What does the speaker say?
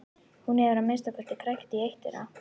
Hún hefur að minnsta kosti krækt í eitt þeirra.